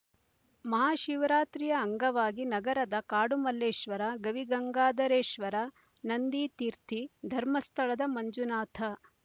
ಮಹಾಶಿವರಾತ್ರಿಯ ಅಂಗವಾಗಿ ನಗರದ ಕಾಡು ಮಲ್ಲೇಶ್ವರ ಗವಿಗಂಗಾಧರೇಶ್ವರ ನಂದಿತೀರ್ಥಿ ಧರ್ಮಸ್ಥಳದ ಮಂಜುನಾಥ